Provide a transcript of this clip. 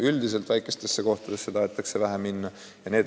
Üldiselt väikestesse kohtadesse tahetakse vähe minna.